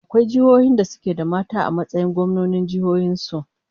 Akwai jiihohin da suke da mata a matsayin gwamnonin jihohin su?